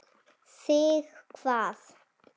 Þig hvað?